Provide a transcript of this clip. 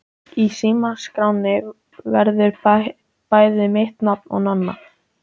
Í símaskránni verður bæði mitt nafn og Nonna.